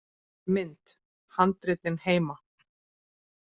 Mynd: Handritin heima.